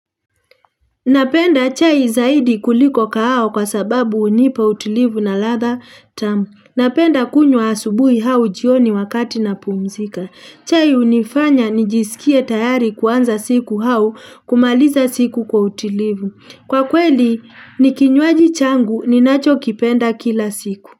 Napenda chai zaidi kuliko kahawa kwa sababu hunipa utilivu na ladha tamu. Napenda kunywa asubuhi au jioni wakati na pumzika. Chai hunifanya nijisikie tayari kuanza siku au kumaliza siku kwa utilivu. Kwa kweli ni kinywaji changu ninacho kipenda kila siku.